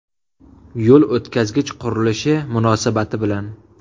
Yo‘l o‘tkazgich qurilishi munosabati bilan.